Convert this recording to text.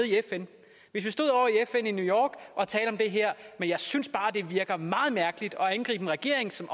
i fn i new york og talte om det her men jeg synes bare det virker meget mærkeligt at angribe en regering som